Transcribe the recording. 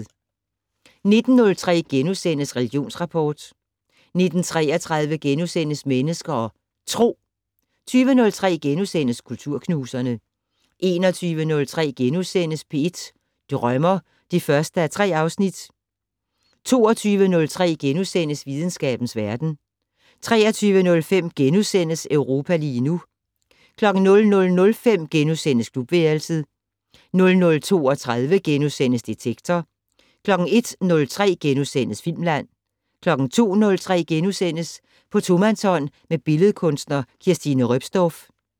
19:03: Religionsrapport * 19:33: Mennesker og Tro * 20:03: Kulturknuserne * 21:03: P1 Drømmer (1:3)* 22:03: Videnskabens verden * 23:05: Europa lige nu * 00:05: Klubværelset * 00:32: Detektor * 01:03: Filmland * 02:03: På tomandshånd med billedkunstner Kirstine Roepsdorff *